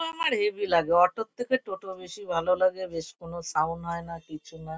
আমার হেবি লাগে অটো -র থেকে টোটো বেশি ভালো লাগে। বেশি কোনো সাউন্ড হয়না কিছুনা।